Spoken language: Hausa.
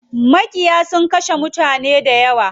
Maƙiyan sun kashe mutane dayawa.